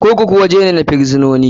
Kurkuku waje ne na firisinoni.